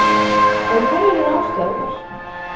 En hverjar eru ástæðurnar?